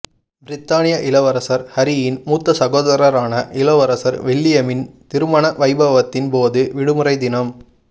பிரித்தானிய இளவரசர் ஹரியின் மூத்த சகோதரரான இளவரசர் வில்லியமின் திருமண வைபவத்தின்போது விடுமுறைதினம் வ